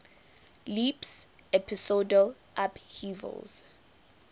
leaps episodal upheavals